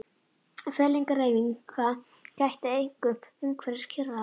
Fellingahreyfinga gætti einkum umhverfis Kyrrahaf og